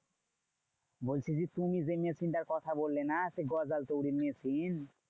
বলছি যে তুমি যে machine টার কথা বললে না? সেই গজাল তৈরীর machine?